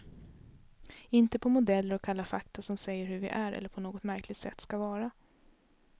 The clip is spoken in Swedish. Inte på modeller och kalla fakta som säger hur vi är eller på något märkligt sätt skall vara.